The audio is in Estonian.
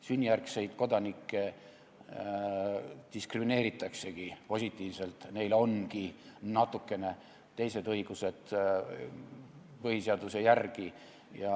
Sünnijärgseid kodanikke diskrimineeritaksegi positiivselt, neil ongi põhiseaduse järgi natukene teised õigused.